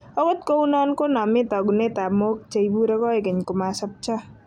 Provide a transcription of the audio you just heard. Okot kou non koname togunetap mook che ipure koigeny komosopcho